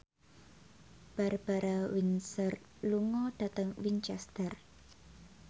Barbara Windsor lunga dhateng Winchester